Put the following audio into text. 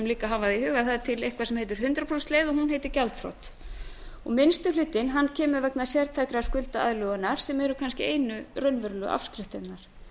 líka hafa það í huga að það er til nokkuð sem heitir hundrað prósent leið og hún heitir gjaldþrot minnsti hlutinn er vegna sértækrar skuldaaðlögunar sem eru kannski einu raunverulegu afskriftirnar